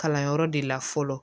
Kalanyɔrɔ de la fɔlɔ